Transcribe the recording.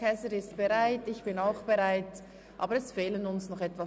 Käser und ich sind bereit, aber es fehlen uns jetzt noch etwa fünfzehn Ratsmitglieder.